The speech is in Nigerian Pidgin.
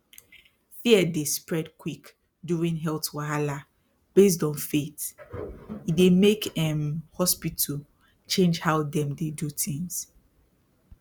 fear dey spread quick during health wahala based on faith e dey make um hospital change how dem dey do things